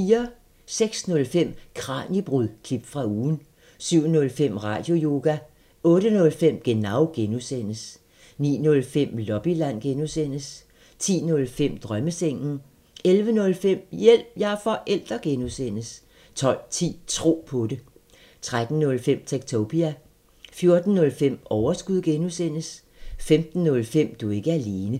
06:05: Kraniebrud – klip fra ugen 07:05: Radioyoga 08:05: Genau (G) 09:05: Lobbyland (G) 10:05: Drømmesengen 11:05: Hjælp – jeg er forælder! (G) 12:10: Tro på det 13:05: Techtopia 14:05: Overskud (G) 15:05: Du er ikke alene